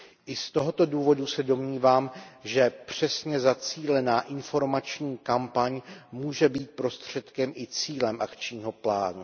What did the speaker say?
I z tohoto důvodu se domnívám, že přesně zacílená informační kampaň může být prostředkem i cílem akčního plánu.